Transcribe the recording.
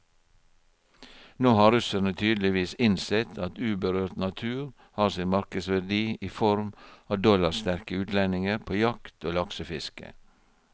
Nå har russerne tydeligvis innsett at uberørt natur har sin markedsverdi i form av dollarsterke utlendinger på jakt og laksefiske.